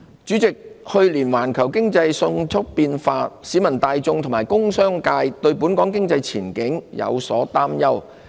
主席，環球經濟去年迅速變化，市民大眾和工商界對本港經濟前景有所擔憂。